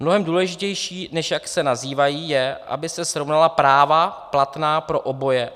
Mnohem důležitější, než jak se nazývají, je, aby se srovnala práva platná pro oboje.